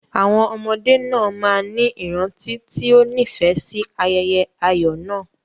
Àwọn ọmọdé náà máa ní ìrántí tí ó nífẹ̀ẹ́ sí ayẹyẹ ayọ̀ náà.